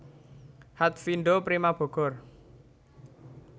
Hatfindo Prima Bogor